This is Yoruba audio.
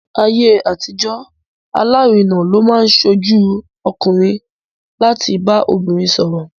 Ní ayé àtijọ́, alárinà ló máa ń ṣojú ọkùnrin láti bá obìnrin sọ̀rọ̀.